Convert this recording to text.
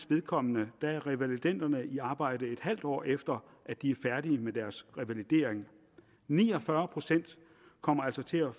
vedkommende er revalidenderne i arbejde et halvt år efter at de er færdige med deres revalidering ni og fyrre procent kommer altså til at